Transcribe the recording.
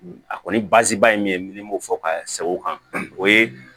A kɔni baasi ba ye min ye min b'o fɔ ka sɛgɛn o kan o ye